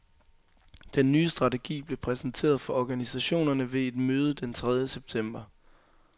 Den nye strategi blev præsenteret for organisationerne ved et møde den tredje september.